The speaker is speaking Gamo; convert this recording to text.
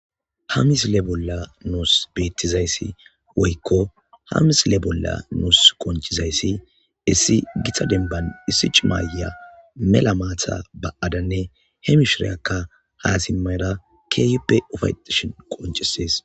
Ha missile bolan betizaysi woyko ha missile bola qonc'izaysi issi gita demban issi c'ima ayiya mela mata ba'adane he mishiriyaka ha missile bola nusi qonc'izaysi issi gita demban issi c'ima ayiya mela mata ba'adane he mishiriyaka ha simara kehipe ufaytishe qonc'ses .